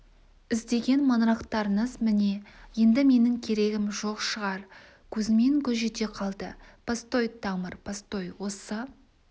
іздеген маңырақтарыңыз міне енді менің керегім жоқ шығар кузьмин гүж ете қалды постой тамыр постой осы